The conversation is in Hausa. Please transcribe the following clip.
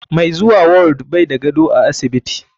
Mai zuwa ward bai da gado a asibiti.